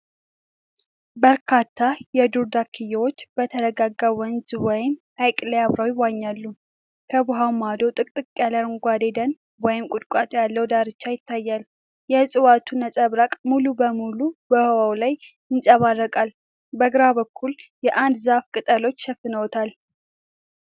በርካታ የዱር ዳክዬዎች በተረጋጋ ወንዝ ወይም ሐይቅ ላይ አብረው ይዋኛሉ። ከውሃው ማዶ ጥቅጥቅ ያለ አረንጓዴ ደን ወይም ቁጥቋጦ ያለው ዳርቻ ይታያል። የዕፅዋቱ ነጸብራቅ ሙሉ በሙሉ በውሃው ላይ ይንጸባረቃል። በግራ በኩል የአንድ ዛፍ ቅጠሎች ሸፍነውታል።